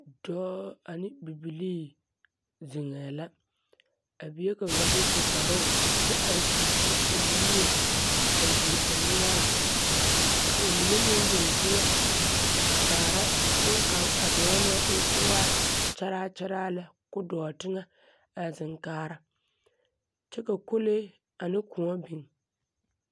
Dɔɔ ane bibilii zeŋɛɛ la. A bie kaŋa bas u kparoo kyɛ are furfur o nimie, a yuo o noɔre. Ka ba mine meŋ zeŋ teŋɛ, a kaara boŋkaŋ a dɔɔ naŋ e ko waa kyaraa kyaraa lɛ ko dɔɔ teŋɛ a zeŋ kaara. Kyɛ ka kolee ane kõɔ biŋ.